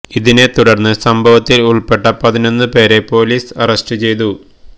ഇതിനെ തുടര്ന്ന് സംഭവത്തില് ഉള്പ്പെട്ട പതിനൊന്നു പേരെ പൊലീസ് അറസ്റ്റു ചെയ്തു